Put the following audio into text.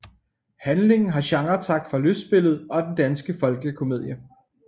Handlingen har genretræk fra lystspillet og den danske folkekomedie